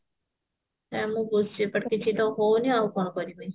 ସେ ଆମକୁ କିଛି ତ ହଉନି ଆଉ କଣ କରିବି